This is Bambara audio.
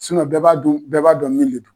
bɛɛ b'a dun bɛɛ b'a dɔn min le don.